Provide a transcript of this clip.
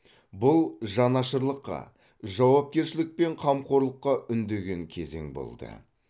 бұл жанашырлыққа жауапкершілік пен қамқорлыққа үндеген кезең болды